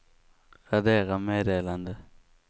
radera meddelande